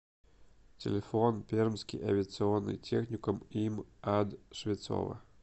телефон пермский авиационный техникум им ад швецова